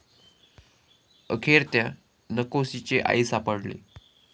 अखेर त्या 'नकोशी'ची आई सापडली